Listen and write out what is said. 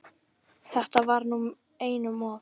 Þetta var nú einum of!